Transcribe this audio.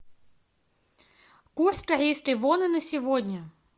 курс корейской воны на сегодня